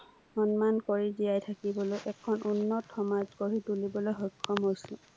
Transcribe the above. সন্মান কৰি জীয়াই থাকিবলৈ এখন উন্নত সমাজ গঢ়ি তুলিবলৈ সক্ষম হৈছো।